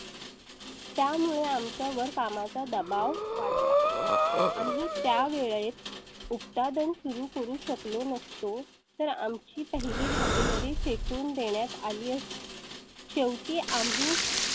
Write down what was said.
त्यामुळे आमच्या वर काम दबाव वाढला. आम्ही त्या वेळेत उत्पादन सुरू करू शकलो नसतो तर आम ची पहिली भागीदारी फेकून देण्यात आली असती. शेवटी आम्ही